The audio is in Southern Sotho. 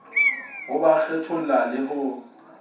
ho ba kgetholla le ho